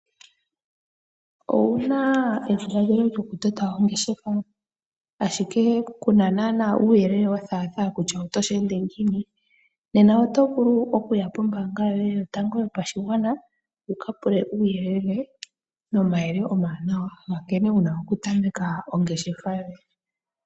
Owuna edhiladhilo lyokutota ongeshefa, ashike ku na naana uuyelele wo thaatha kutya oto sheende ngiini? Nena oto vulu oku ya pombaanga yoye yotango yo pashigwana wu ka pule uuyele nomayele oma wanawa ga nkene wuna oku tameka ongeshefa yoye.